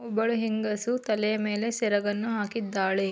ಒಬ್ಬಳು ಹೆಂಗಸು ತಲೆಯ ಮೇಲೆ ಸೆರಗನ್ನು ಹಾಕಿದ್ದಾಳೆ.